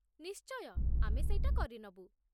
ନିଶ୍ଚୟ, ଆମେ ସେଇଟା କରିନବୁ ।